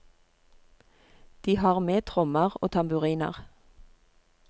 De har med trommer og tamburiner.